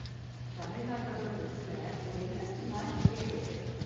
தமிழ்நாட்டோட டிரஸ்ல ஒரு இண்டரெஸ்ட்டிங்கான விஷயம் இருக்கு